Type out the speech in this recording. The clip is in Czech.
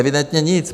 Evidentně nic.